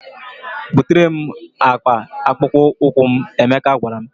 "Butere m akpa akpụkpọ ụkwụ m," Emeka gwara m.